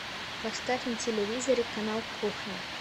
поставь на телевизоре канал кухня